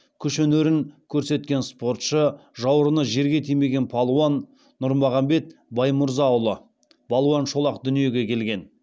күш өнерін көрсеткен спортшы жауырыны жерге тимеген балуан нұрмағамбет баймырзаұлы балуан шолақ дүниеге келген